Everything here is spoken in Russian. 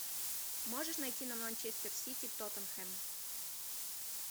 можешь найти нам манчестер сити тоттенхэм